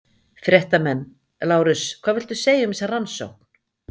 Fréttamenn: Lárus hvað viltu segja um þessa rannsókn?